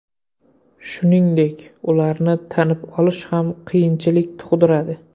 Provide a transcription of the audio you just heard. Shuningdek, ularni tanib olish ham qiyinchilik tug‘diradi.